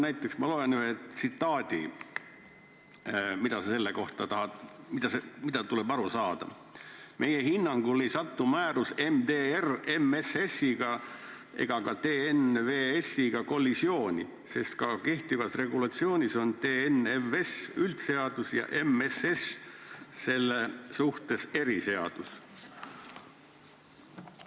Aga ma loen ette ühe tsitaadi ja seleta mulle, mida sellest tuleb aru saada: "Meie hinnangul ei sattu määrus MSS-iga ega ka TNVS-iga kollisiooni, sest ka kehtivas regulatsioonis on TNVS üldseadus ja MSS on selle suhtes eriseadus.